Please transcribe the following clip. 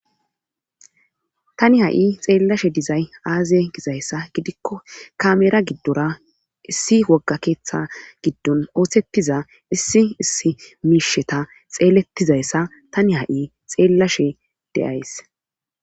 Tani ha7i xeellashe dizay aazie gizayssa gidikko kamera giddora issi wogga keeththa giddon oothettiza issi issi miisheta xeelettizayssa tani ha7i xeellashe deyays.